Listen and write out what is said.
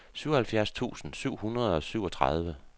syvoghalvfjerds tusind syv hundrede og syvogtredive